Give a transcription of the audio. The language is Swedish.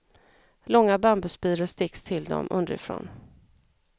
Långa bambuspiror sticks till dem underifrån.